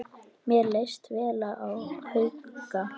Mér leist vel á Hauka.